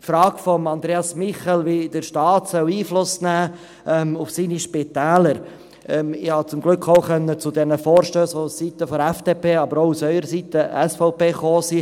Zur Frage von Andreas Michel, wie der Staat auf seine Spitäler Einfluss nehmen soll: Ich habe zum Glück auch zu den Vorstössen zum Spital Zweisimmen, die vonseiten der FDP, aber auch vonseiten der SVP kamen …